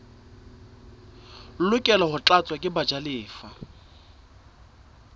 lokela ho tlatswa ke bajalefa